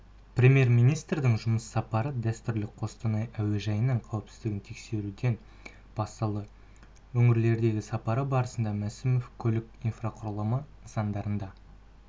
премьер-министрдің жұмыс сапары дәстүрлі қостанай әуежайының қауіпсіздігін тексеруден басталды өңірлерге сапары барысында мәсімов көлік инфрақұрылымы нысандарында